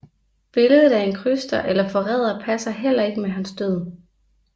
Billedet af en kryster eller forræder passer heller ikke med hans død